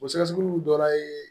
O sɛgɛsɛgɛliw dɔ ye